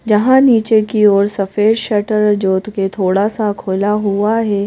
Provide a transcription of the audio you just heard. जहां नीचे की ओर सफेद शटर जो कि थोड़ा सा खुला हुआ है।